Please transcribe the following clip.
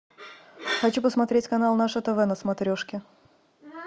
хочу посмотреть канал наше тв на смотрешке